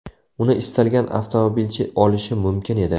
Uni istalgan avtomobilchi olishi mumkin edi.